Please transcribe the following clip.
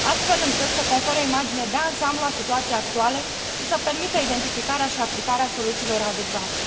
astfel încât să confere o imagine de ansamblu a situației actuale și să permită identificarea și aplicarea soluțiilor adecvate.